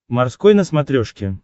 морской на смотрешке